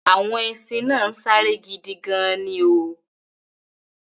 Àwọn ẹṣin náà ń sáré gidi gan-an ni o